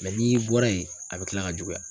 n'i bɔra yen a bɛ kila ka juguya.